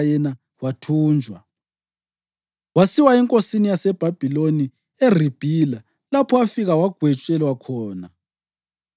yena wathunjwa. Wasiwa enkosini yaseBhabhiloni eRibhila, lapho afika wagwetshelwa khona.